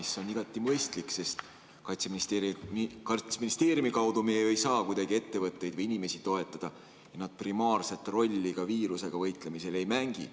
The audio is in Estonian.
See on igati mõistlik, sest Kaitseministeeriumi kaudu me ju ei saa kuidagi ettevõtteid või inimesi toetada ja nad primaarset rolli viirusega võitlemisel ei mängi.